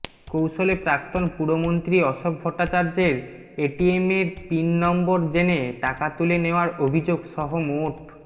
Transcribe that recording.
কৌশলে প্রাক্তন পুরমন্ত্রী অশোক ভট্টাচার্যের এটিএমের পিন নম্বর জেনে টাকা তুলে নেওয়ার অভিযোগ সহ মোট